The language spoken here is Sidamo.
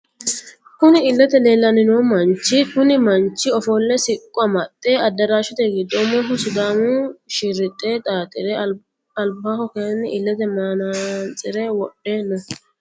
Kunni illete leelani noohu manichi kunni manchi ofolle siqqo amaxe adiraashete giddo umoho sidaamu shirixe xaaxire alibaho kayiini illete manatsire wodhe no.